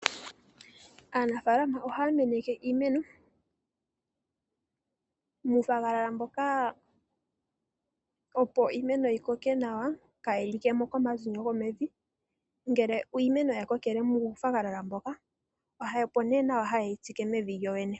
Aanafalama ohaya kokeke iimeno muufagalala mboka opo iimeno yi koke nawa kaa yilikemo komazinyo go mevi. Ngele uumeno wa kokele muu fagalala moka opo nee haye wu tsike mevi lyo lyene.